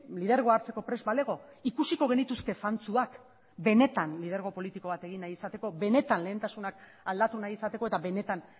lidergoa hartzeko prest balego ikusiko genituzke zantzuak benetan lidergo politiko bat egin nahi izateko benetan lehentasunak aldatu nahi izateko eta benetan